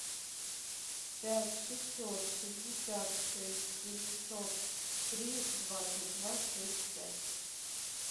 пять шестьсот шестьдесят шесть девятьсот три двадцать два шесть пять